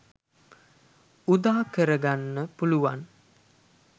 උදාකර ගන්න පුළුවන්.